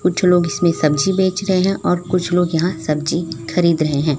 कुछ लोग इसमें सब्जी बेच रहे हैं और कुछ लोग यहां सब्जी खरीद रहे हैं।